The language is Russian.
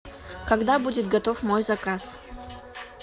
когда будет готов мой заказ